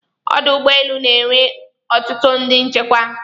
Ọdụ ụgbọelu na enwe ọtụtụ ndị nchekwa